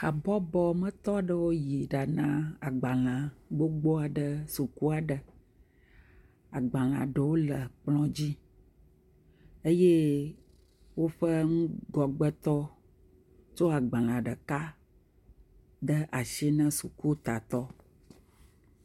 Habɔbɔ me tɔ aɖewo yi ɖa na agbalẽ gbogbo aɖe suku aɖe. Agbalẽa ɖewo le kplɔ dzi eye woƒe ŋgɔgbetɔ tso agbalẽ ɖeka de asi ne sukutatɔ.